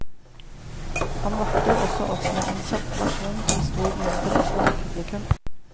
Han varter også opp med en kjapp versjon til stor munterhet blant publikum.